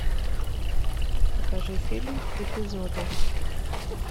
покажи фильм эпизоды